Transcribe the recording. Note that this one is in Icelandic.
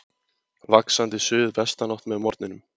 Vaxandi suðvestanátt með morgninum